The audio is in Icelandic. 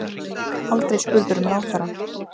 Aldrei spurður um ráðherrann